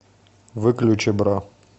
выключи бра